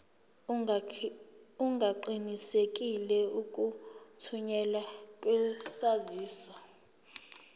ungaqinisekisa ukuthunyelwa kwesaziso